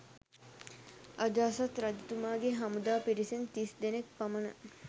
අජාසත් රජතුමාගේ හමුදා පිරිසෙන් තිස් දෙනෙක් පමණ